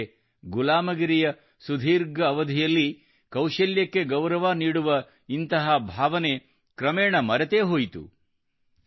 ಆದರೆ ಗುಲಾಮಗಿರಿಯ ಸುದೀರ್ಘ ಅವಧಿಯಲ್ಲಿ ಕೌಶಲ್ಯಕ್ಕೆ ಗೌರವ ನೀಡುವ ಇಂತಹ ಭಾವನೆ ಕ್ರಮೇಣ ಮರೆತೇ ಹೋಯಿತು